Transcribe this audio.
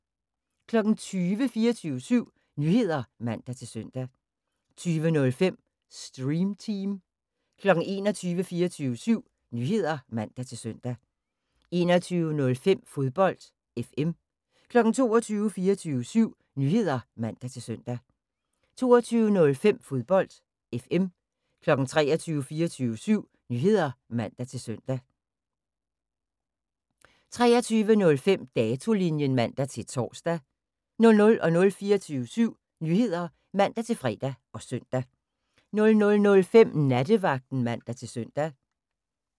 20:00: 24syv Nyheder (man-søn) 20:05: Stream Team 21:00: 24syv Nyheder (man-søn) 21:05: Fodbold FM 22:00: 24syv Nyheder (man-søn) 22:05: Fodbold FM 23:00: 24syv Nyheder (man-søn) 23:05: Datolinjen (man-tor) 00:00: 24syv Nyheder (man-fre og søn) 00:05: Nattevagten (man-søn)